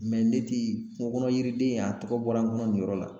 Mɛ ne ti kungo kɔnɔ yiriden in a tɔgɔ bɔra n kɔnɔ nin yɔrɔ la